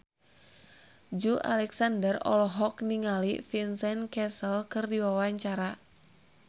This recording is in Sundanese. Joey Alexander olohok ningali Vincent Cassel keur diwawancara